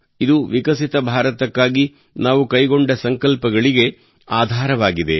ಇದು ವಿಕಸಿತ ಭಾರತಕ್ಕಾಗಿ ನಾವು ಕೈಗೊಂಡ ಸಂಕಲ್ಪಗಳಿಗೆ ಆಧಾರವಾಗಿದೆ